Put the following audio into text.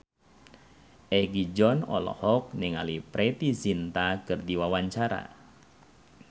Egi John olohok ningali Preity Zinta keur diwawancara